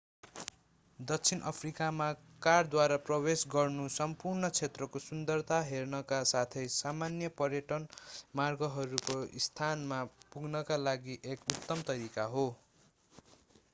दक्षिणी अफ्रिकामा कारद्वारा प्रवेश गर्नु सम्पूर्ण क्षेत्रको सुन्दरता हेर्नका साथै सामान्य पर्यटन मार्गहरूको स्थानमा पुग्नका लागि एक उत्तम तरिका हो